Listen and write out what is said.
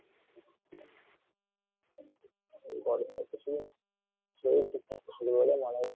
এই গরমে আর কিছুদিন শরীর ঠিক থাক থাকবে না মনে হচ্ছে